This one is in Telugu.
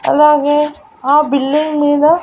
అలాగే ఆ బిల్డింగ్ మీద.